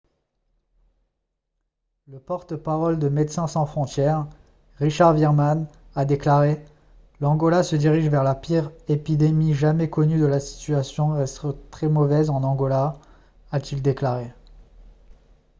le porte-parole de médecins sans frontières richard veerman a déclaré :« l'angola se dirige vers la pire épidémie jamais connue et la situation reste très mauvaise en angola » a-t-il déclaré